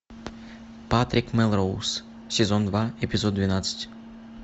патрик мелроуз сезон два эпизод двенадцать